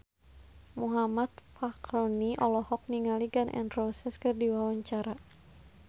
Muhammad Fachroni olohok ningali Gun N Roses keur diwawancara